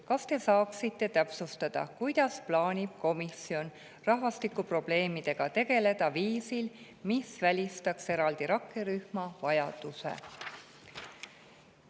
Kas te saaksite täpsustada, kuidas plaanib komisjon rahvastikuprobleemidega tegeleda viisil, mis välistaks eraldi rakkerühma vajaduse?